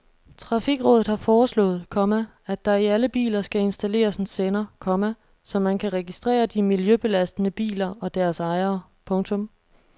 Trafikrådet har foreslået, komma at der i alle biler skal installeres en sender, komma så man kan registrere de miljøbelastende biler og deres ejere. punktum